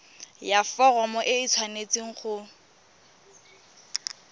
ya foromo e tshwanetse go